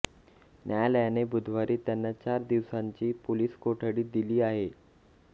न्यायालयाने बुधवारी त्यांना चार दिवसांची पोलिस कोठडी दिली आहे